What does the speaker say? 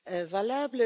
valable.